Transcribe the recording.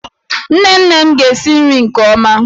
Nne nne m ga-esi nri nke ọma.